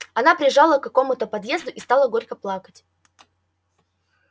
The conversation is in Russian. она прижала к какому-то подъезду и стала горько плакать